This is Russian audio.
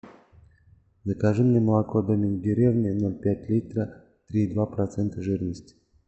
закажи мне молоко домик в деревне ноль пять литра три и два процента жирности